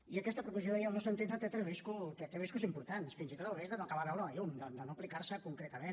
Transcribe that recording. i aquesta proposició de llei al nostre entendre té riscos importants fins i tot el risc de no acabar de veure la llum de no aplicar se concretament